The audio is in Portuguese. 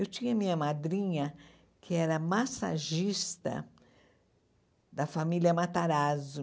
Eu tinha minha madrinha, que era massagista da família Matarazzo.